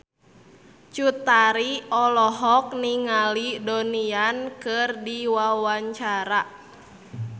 Cut Tari olohok ningali Donnie Yan keur diwawancara